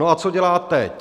No a co dělá teď?